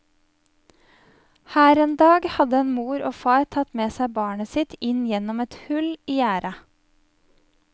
Her en dag hadde en mor og far tatt med seg barnet sitt inn gjennom et hull i gjerdet.